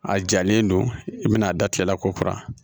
A jalen don i bɛna a da tigɛla k'o kura